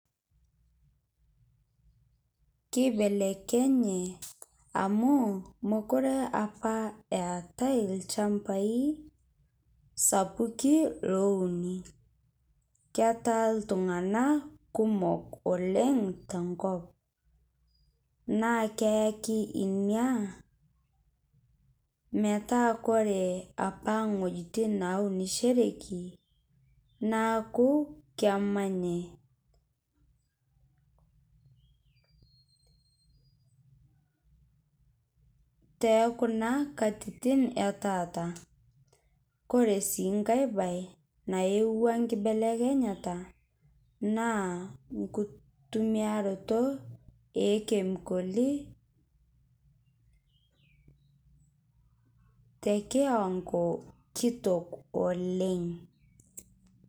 Keibelekenye amu mokore apaa etai lchambai sapuki louni ketaa ltung'ana kumook oleng to nkoop. Naa keaki enia metaa kore apaa ng'ojitin naunushoreki naaku kemanyai te kuna katitin e taata. Kore sii nkai bayi naeyeua kibelekenyata naa nkutumiaroto e kemikoli te kiwango kitook oleng.